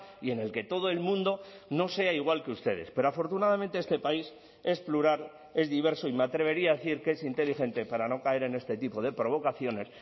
y en el que todo el mundo no sea igual que ustedes pero afortunadamente este país es plural es diverso y me atrevería a decir que es inteligente para no caer en este tipo de provocaciones